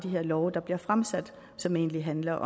her love der bliver fremsat som egentlig handler